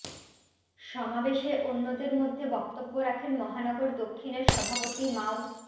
সমাবেশে অন্যদের মধ্যে বক্তব্য রাখেন মহানগর দক্ষিণের সভাপতি মাও